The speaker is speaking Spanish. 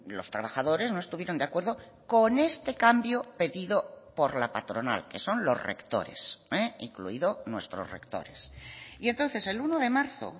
los trabajadores no estuvieron de acuerdo con este cambio pedido por la patronal que son los rectores incluido nuestros rectores y entonces el uno de marzo